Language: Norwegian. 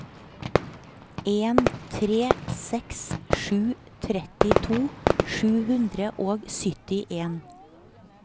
en tre seks sju trettito sju hundre og syttien